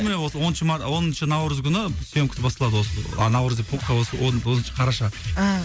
міне осы оныншы оныншы наурыз күні сьемкасы басталады осы а наурыз деппін ғой осы оныншы қараша ааа